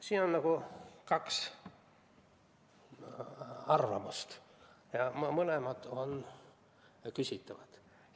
Siin on kaks arvamust ja mõlemad on küsitavad.